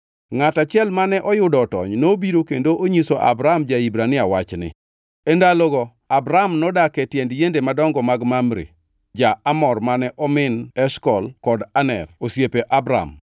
Ngʼat achiel mane oyudo otony nobiro kendo onyiso Abram ja-Hibrania wachni. E ndalogo Abram nodak e tiend yiende madongo mag Mamre ja-Amor mane omin Eshkol kod Aner, osiepe Abram.